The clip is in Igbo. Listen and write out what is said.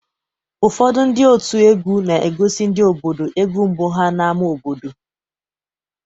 Ụfọdụ ndị òtù egwú na-egosi ndị obodo egwu mbụ ha n'ámá obodo.